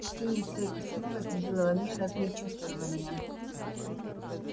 чтение сего письма возбудило во мне разные чувствования